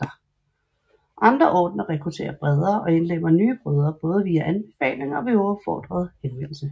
Andre ordener rekrutterer bredere og indlemmer nye brødre både via anbefaling og ved uopfordret henvendelse